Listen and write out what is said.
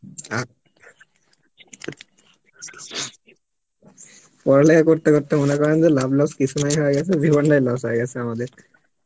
আক~, পরা লেখা করতে করতে লাব loss কিসুনায় হয়ে গেছে জীবন তাই loss হয়ে গেছে আমাদের